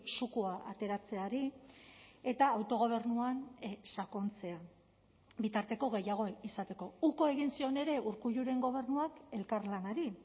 zukua ateratzeari eta autogobernuan sakontzea bitarteko gehiago izateko uko egin zion ere urkulluren gobernuak elkarlanari